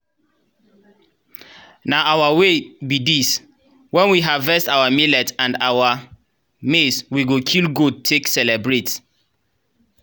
na our way be this. when we harvest our millet and our maize we go kill goat take celebrate.